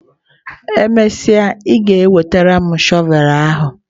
E mesịa, ị ga-enwetara m shọvel ahụ!